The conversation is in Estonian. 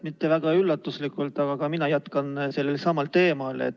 Mitte väga üllatuslikult, aga ka mina jätkan sellelsamal teemal.